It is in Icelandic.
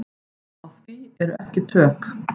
Á því eru ekki tök.